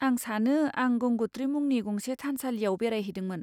आं सानो आं गंगोत्री मुंनि गंसे थानसालियाव बेरायहैदोंमोन।